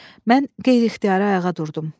Mən qeyri-ixtiyari ayağa durdum.